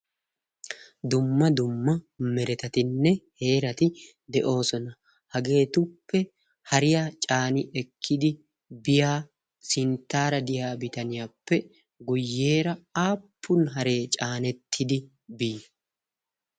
dumma dumma meretatinne heerati de'oosona hageetuppe hariya caani ekkidi biya sinttaara diyaa bitaniyaappe guyyeera aappun haree caanettidi bii